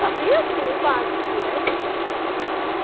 Sabia, assim, o básico, né?